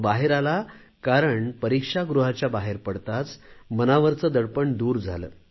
तो बाहेर आला कारण परीक्षागृहाच्या बाहेर पडताच मनावरच दडपण दूर झाले